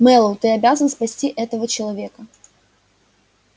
мэллоу ты обязан спасти этого человека